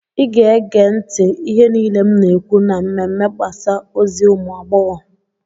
ị ga-ege ntị ihe niile m na-ekwu na mmemme mgbasa ozi ụmụ agbọghọ